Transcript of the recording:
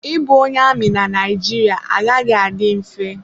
Ịbụ onye amị na Naijiria agaghị adị mfe.